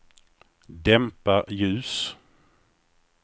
dämpa ljus